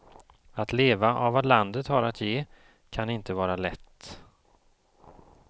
Att leva av vad landet har att ge kan inte vara lätt.